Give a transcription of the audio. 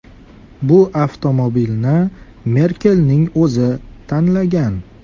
Bu avtomobilni Merkelning o‘zi tanlagan.